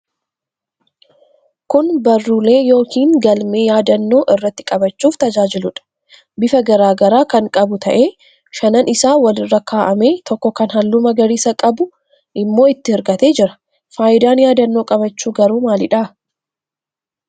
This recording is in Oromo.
Kun barruulee yookiin galmee yaadannoo irratti qabachuuf tajaajiluudha. Bifa garaa garaa kan qabu ta'ee shanan isaa walirra kaa'amee, tokko kan halluu magariisa qabu immoo itti hirkatee jira. Faayidaan yaadannoo qabachuu garuu maalidha?